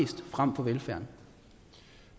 have